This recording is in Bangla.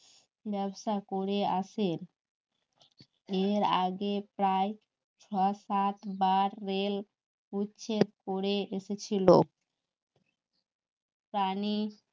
করে আসেন এর আগে প্রায় ছ সাত বার রেল উচ্ছেদ করে এসেছিল প্রাণী